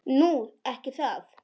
Nú. ekki það?